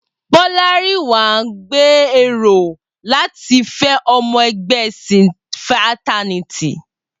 Bolarinwa ń gbèrò láti fẹ́ ọmọ ẹgbẹ́ cinferternity.